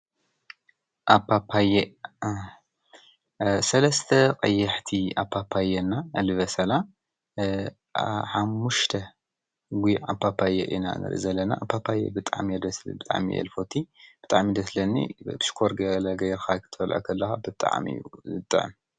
ኣፓፓየ ሰለስተ ቀያሕቲ ኣፓፓየ እና ልበሰላ ሓሙሽተ ጉዕ ኣፓፓየ ኢና ንሪኢ ዘለና። ኣፓፓየ ብጣዕሚ እዩ ደስ ዝብል ብጣዕሚ እየ ዝፈትይ ።ብጣዕሚ ደስ ዝብለኒ ሽኮር ገይረ ገለ ገይርካ ክትበልክዖ ከለካ ብጣዕሚ እዩ ዝጥዕም::